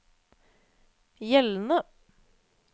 gjeldende